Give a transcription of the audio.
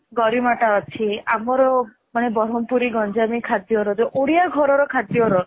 ଗାରିମାଟା ଅଛି ଆମର ମାନେ ବରମପୁରୀ ଗଞ୍ଜାମି ଖାଦ୍ୟର ଯୋଉ ଓଡିଆ ଘରର ଖାଦ୍ୟର